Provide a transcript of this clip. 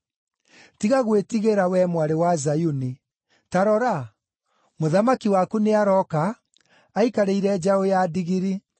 “Tiga gwĩtigĩra, wee Mwarĩ wa Zayuni; ta rora, mũthamaki waku nĩarooka, aikarĩire njaũ ya ndigiri.”